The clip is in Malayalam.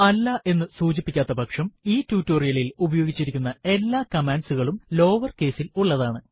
അല്ല എന്ന് സൂചിപ്പിക്കാത്ത പക്ഷം ഈ ടുടോരിയലിൽ ഉപയോഗിച്ചിരിക്കുന്ന എല്ലാ കമാൻഡ്സ് കളും ലോവർ കേസ് ൽ ഉള്ളതാണ്